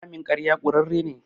Ramin ƙarya ƙurarre ne.